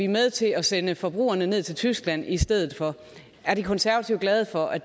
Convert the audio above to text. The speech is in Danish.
med til at sende forbrugerne ned til tyskland i stedet for er de konservative glade for at